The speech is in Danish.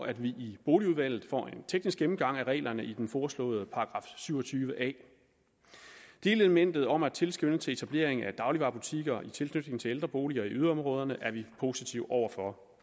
at vi i boligudvalget får en teknisk gennemgang af reglerne i den foreslåede § syv og tyve a delelementet om tilskrivning til etablering af dagligvarebutikker i tilknytning til ældre boliger i yderområderne er vi positive over for